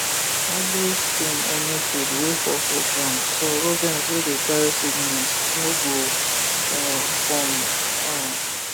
always clean any feed wey fall for ground so rodent wey dey carry sickness no go um come um